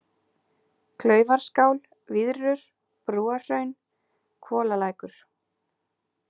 Klaufarskál, Víðrur, Brúarhraun, Hvolalækur